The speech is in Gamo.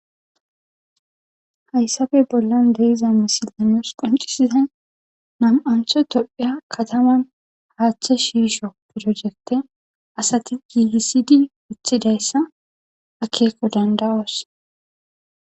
hayssafe bollan deiza misiley nus qoncisizay nam7antho tophiya kataman haaththa shishsho pirojekte asati gigisidi woththidayssa akeeko danda7oos